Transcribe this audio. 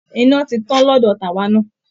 Iná ti tàn lọ́dọ̀ tàwa náà